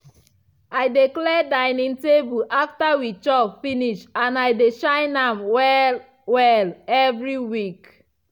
i dey clear dining table after we chop finish and i de shine am well-well evri week.